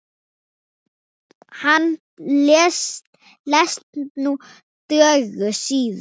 Konan lést níu dögum síðar.